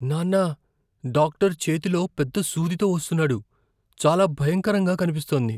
నాన్నా, డాక్టర్ చేతిలో పెద్ద సూదితో వస్తున్నాడు. చాలా భయంకరంగా కనిపిస్తోంది.